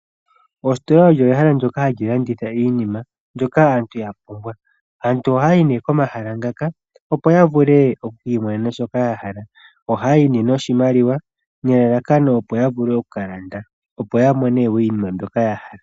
Oositola olo ehala ndyoka hali landitha iinima ndyoka aantu yapumbwa. Aantu ohaya yi nee komahala ngaka opo yakiimonene shoka yahala. ohaya yi nee noshimaliwa opo yavule okukalanda opo yamone woo inima mboka yahala.